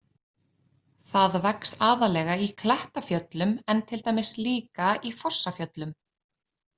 Það vex aðallega í Klettafjöllum en til dæmis líka í Fossafjöllum.